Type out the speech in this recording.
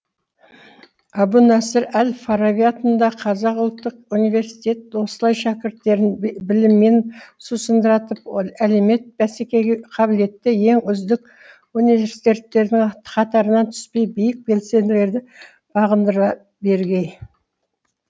әбу насыр әл фараби атындағы қазақ ұлттық университеті осылай шәкірттерін біліммен сусындатып әлемет бәсекеге қабілетті ең үздік университеттердің қатарынан түспей биік белсенділерді бағындыра бергей